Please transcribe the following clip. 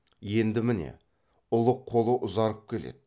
енді міне ұлық қолы ұзарып келеді